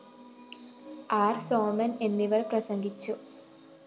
ആര്‍ സോമന്‍ എന്നിവര്‍ പ്രസംഗിച്ചു